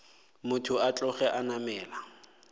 motho a tloge a namela